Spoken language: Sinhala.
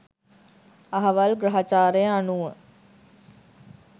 අහවල් ග්‍රහචාරය අනුව